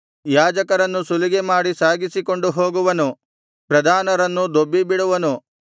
ಯಾಜಕರನ್ನು ಸುಲಿಗೆಮಾಡಿ ಸಾಗಿಸಿಕೊಂಡು ಹೋಗುವನು ಪ್ರಧಾನರನ್ನು ದೊಬ್ಬಿಬಿಡುವನು